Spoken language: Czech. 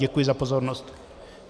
Děkuji za pozornost.